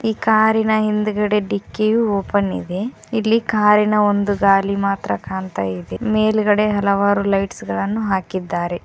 ಈ ಕಾರಿನ ಹಿಂದಗಡೆ ಡಿಕ್ಕಿಯು ಓಪನ್ ಇದೆ ಇಲ್ಲಿ ಕಾರಿ ನ ಒಂದು ಗಾಲಿ ಮಾತ್ರ ಕಾಣ್ತಾಇದೆ ಮೇಲ್ಗಡೆ ಹಲವಾರು ಲೈಟ್ಸ್ ಗಳನ್ನು ಹಾಕಿದ್ದಾರೆ.